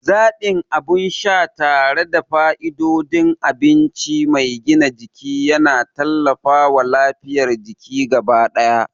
Zaɓin abin sha tare da fa'idodin abinci mai gina jiki yana tallafawa lafiyar jiki gaba ɗaya.